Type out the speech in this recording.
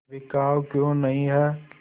बिकाऊ क्यों नहीं है